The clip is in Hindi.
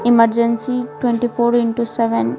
emergency twenty four into seven --